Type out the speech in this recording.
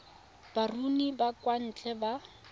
baruni ba kwa ntle ba